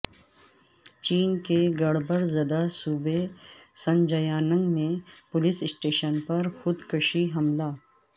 چین کے گڑ بڑ زدہ صوبہ ژنجیانگ میں پولیس اسٹیشن پر خود کش حملہ